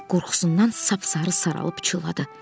Hek qorxusundan sap-sarı saralıb pıçıldadı.